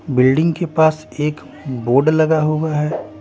Building के पास एक बोर्ड लगा हुआ हैं ।